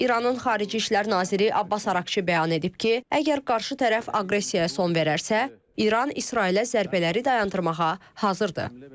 İranın xarici İşlər naziri Abbas Araqçı bəyan edib ki, əgər qarşı tərəf aqressiyaya son verərsə, İran İsrailə zərbələri dayandırmağa hazırdır.